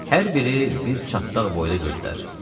Hər biri bir çatdaq boyda gözdür.